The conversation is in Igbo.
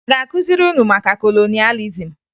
A ga-akụziri unu maka kolonịalizim?